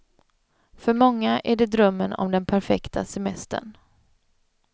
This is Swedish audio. För många är det drömmen om den perfekta semestern.